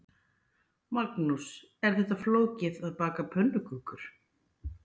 Magnús: Er þetta flókið, að baka pönnukökur?